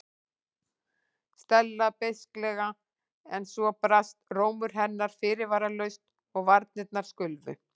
Stella beisklega en svo brast rómur hennar fyrirvaralaust og varirnar skulfu.